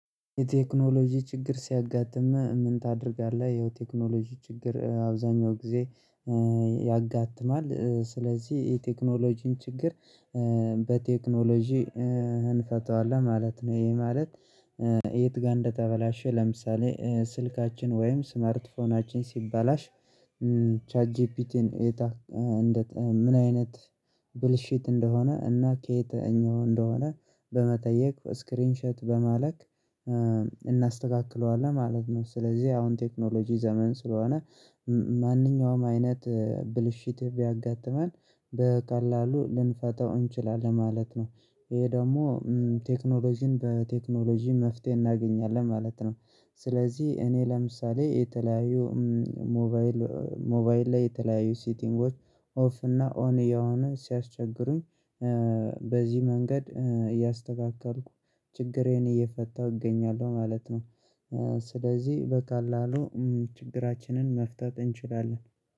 የቴክኖሎጂ ችግር ሲያጋጥም ምን ታደርጋለህ? ይኸው ቴክኖሎጂ ችግር አብዛኛው ጊዜ ያጋጥማል ስለዚህ የቴክኖሎጂን ችግር በቴክኖሎጂ እንፈታዋለን ማለት ነው። ይሄ ማለት። የት ጋር እንደተበላሸ ለምሳሌ ስልካችን ወይም ስማርት ፎናችን ሲባላሽ። ቻትጂፒቲን እጠ ምን አይነት ብልሽት እንደሆነ እና ከየትኛው እንደሆነ በመጠየቅ ስክሪንሸት በማለክ እናስተካክለዋለን ማለት ነው። ስለዚህ አሁን ቴክኖሎጂ ዘመን ስለሆነ ማንኛውም አይነት ብልሽት ብያጋጥመን በቀላሉ ልንፈታው እንችላለን ማለት ነው። ይሄ ደግሞ ቴክኖሎጂን በቴክኖሎጂ መፍትሄ እናገኛለን ማለት ነው። ስለዚህ እኔ ለምሳሌ የተለያዩ ሞባይል ሞባይል ላይ የተለያዩ ሲቲንጎች ኦፍ እና ኦን የሆነ ሲያስቸግሩኝ በዚህ መንገድ እያስተካከልኩ ችግሬን እየፈታሁ እገኛለሁ ማለት ነው። ስለዚህ በቀላሉ ችግራችንን መፍታት እንችላለን።